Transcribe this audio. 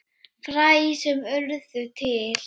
Fræ sem urðu til.